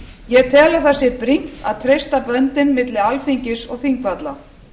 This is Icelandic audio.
ég tel að það sé brýnt að treysta böndin milli alþingis og þingvalla